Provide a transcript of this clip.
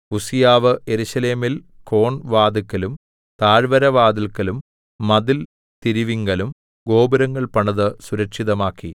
ഉസ്സീയാവ് യെരൂശലേമിൽ കോൺ വാതില്‍ക്കലും താഴ്വരവാതില്ക്കലും മതിൽ തിരിവിങ്കലും ഗോപുരങ്ങൾ പണിത് സുരക്ഷിതമാക്കി